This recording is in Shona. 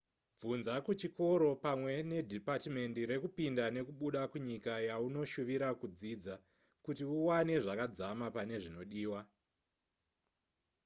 bvunza kuchikoro pamwe nedhipatimendi rekupinda nekubuda kunyika yaunoshuvira kudzidza kuti uwane zvakadzamapane zvinodiwa